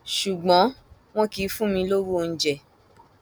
ṣùgbọn wọn kì í fún mi lọwọ oúnjẹ